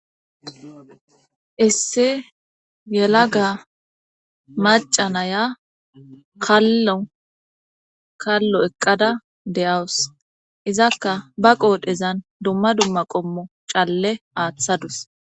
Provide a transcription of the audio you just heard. isse yelaga macanaya kalo kallo eqqada deyawus izakka ba qoodhezan dumma dumma qommo calle aaththadus